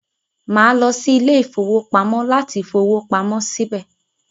Màá lọ sí ilé-ìfowópamọ́ láti fowó pamọ síbẹ̀.